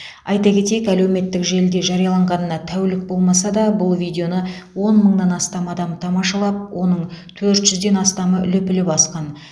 айта кетейік әлеуметтік желіде жарияланғанына тәулік болмаса да бұл видеоны он мыңнан астам адам тамашалап оның төрт жүзден астамы лүпіл басқан